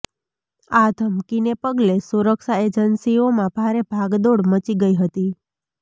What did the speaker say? આ ધમકીને પગલે સુરક્ષા એજન્સીઓમાં ભારે ભાગદોડ મચી ગઈ હતી